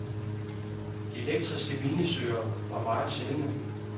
Elektriske minesøgerne var meget sjældne.